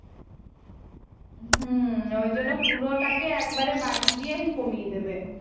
হম ওই জন্য পুরোটাকে একবারে বাড়িয়ে দিয়েই কমিয়ে দেবে